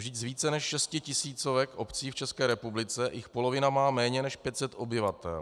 Vždyť z více než 6 tisíc obcí v České republice jich polovina má méně než 500 obyvatel.